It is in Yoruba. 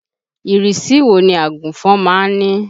Ìrísí wo ni àgùnfọn má ń ní?